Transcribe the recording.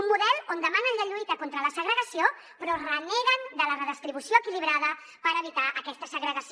un model on demanen la lluita contra la segregació però reneguen de la redistribució equilibrada per evitar aquesta segregació